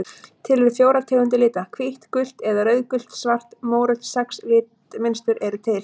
Til eru fjórar tegundir lita: hvítt gult eða rauðgult svart mórautt Sex litmynstur eru til.